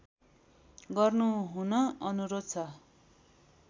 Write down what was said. गर्नुहुन अनुरोध छ